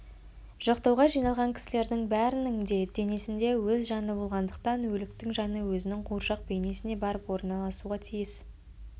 жоқтауға жиналған кісілердің бәрінің де денесінде өз жаны болғандықтан өліктің жаны өзінің қуыршақ бейнесіне барып орналасуға тиіс